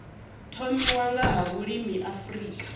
thomiwa nga ha vhulimi afrika